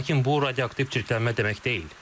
Lakin bu radioaktiv çirklənmə demək deyil.